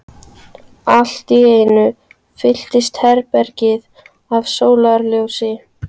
Allt í einu fyllist herbergið af sólarljósi.